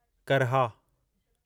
करहा